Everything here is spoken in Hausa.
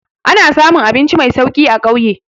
Ana samun abinci mai sauki a ƙauye.